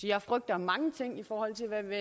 jeg frygter mange ting i forhold til hvad